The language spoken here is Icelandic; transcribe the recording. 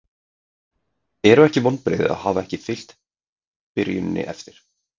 Eru ekki vonbrigði að hafa ekki fylgt byrjuninni eftir?